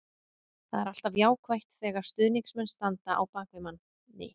Það er alltaf jákvætt þegar stuðningsmenn standa á bak við manni.